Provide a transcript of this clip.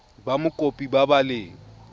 ba mokopi ba ba leng